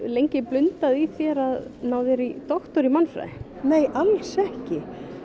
lengi blundað í þér að ná þér í doktor í mannfræði nei alls ekki